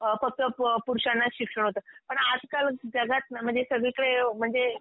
अ फक्त पुरुषांनाचं शिक्षण होतं, पण आजकाल जगात ना म्हणजे सगळीकडे म्हणजे